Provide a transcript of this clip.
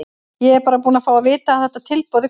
Ég er bara búinn að fá að vita að þetta tilboð er komið.